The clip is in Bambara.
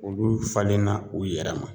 Olu falenna u yɛrɛ ma.